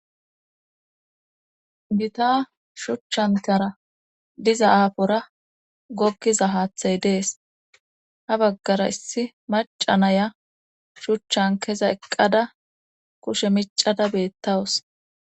Gita shuchchantara diza aafora gokkiza haathay dees ha baggara issi maca naya shuchchan keza eqqada kushe micada beettawus